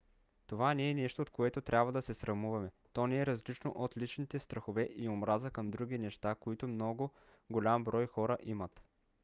това не е нещо от което трябва да се срамуваме: то не е различно от личните страхове и омраза към други неща които много голям брой хора имат